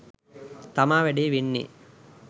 තමා වැඩේ වෙන්නේ